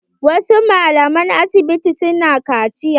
Wasu malaman asibiti na kaciya.